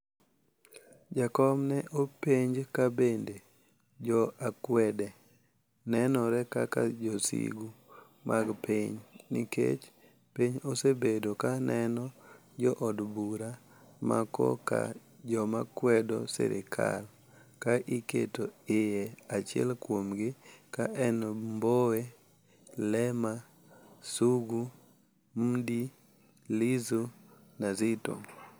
Jakom ne openj ka bende jo akwede nenore kaka josigu mag piny, ni kech piny osebedo ka neno jo od bura ma koka joma kwedo sirikal ka iketo iye, achiel kuomgi ka en Mbowe, lema, Sugu, Mdii, Lissu na Zitto